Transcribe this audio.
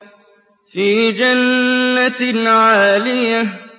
فِي جَنَّةٍ عَالِيَةٍ